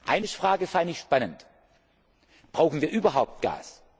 Eine Frage fand ich spannend Brauchen wir überhaupt Gas?